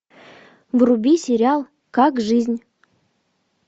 вруби сериал как жизнь